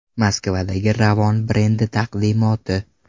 Moskvadagi Ravon brendi taqdimoti .